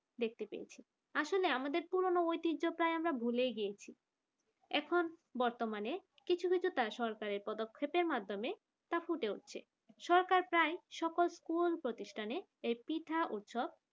দেখতে পেয়েছি আসলে আমাদের পুরনো ঐতিহ্য প্রায় আমরা ভুলেই গিয়েছি এখন বর্তমানে কিছু কিছু তা সরকারের পদক্ষেপের মাধ্যমে তা ফুটে উঠছে সরকার প্রায় সকল school প্রতিষ্ঠানে এই পিঠা উৎসব